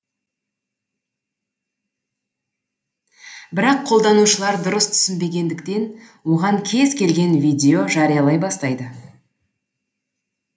бірақ қолданушылар дұрыс түсінбегендіктен оған кез келген видео жариялай бастайды